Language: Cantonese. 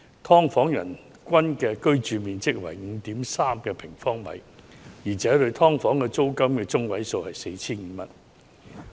"劏房"人均居所樓面面積中位數為 5.3 平方米，而"劏房"住戶每月租金中位數為 4,500 元。